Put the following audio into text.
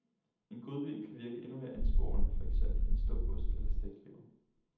En godbid kan virke endnu mere ansporende, for eksempel en stump ost eller stegt lever.